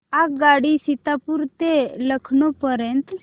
आगगाडी सीतापुर ते लखनौ पर्यंत